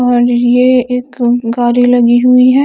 और ये एक है ।